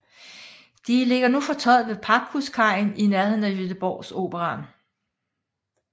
De ligger fortøjet ved Packhuskajen i nærheden af Göteborgsoperan